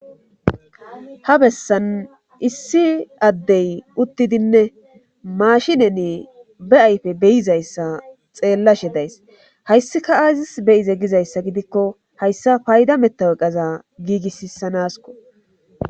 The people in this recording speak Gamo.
ha bessan issi addey uttidinne maashineni be ayfe be7izayssa xeelashe days hayssika aazissi be7ize gizayssa gidiko hayssa payda metawoqeza giigissisanaskko